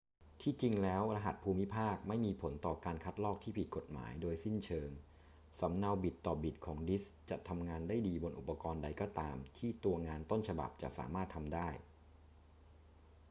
ที่จริงแล้วรหัสภูมิภาคไม่มีผลต่อการคัดลอกที่ผิดกฎหมายโดยสิ้นเชิง สำเนาบิตต่อบิตของดิสก์จะทำงานได้ดีบนอุปกรณ์ใดก็ตามที่ตัวงานต้นฉบับจะสามารถทำได้